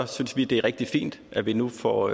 synes vi det er rigtig fint at vi nu får